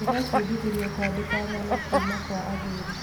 Ndĩrebundithirie kũandĩka ng'ano kuuma kwa athuri.